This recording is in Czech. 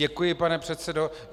Děkuji, pane předsedo.